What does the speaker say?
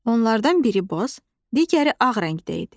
Onlardan biri boz, digəri ağ rəngdə idi.